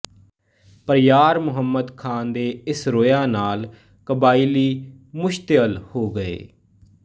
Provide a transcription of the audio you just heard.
ਪਰ ਯਾਰ ਮੁਹੰਮਦ ਖ਼ਾਨ ਦੇ ਇਸ ਰੋਇਆ ਨਾਲ਼ ਕਬਾਇਲੀ ਮੁਸ਼ਤਅਲ ਹੋ ਗਏ